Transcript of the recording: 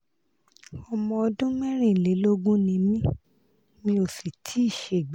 ọmọ ọdún mẹ́rìnlélógún ni mí mi ò sì tíì ṣègbéyàwó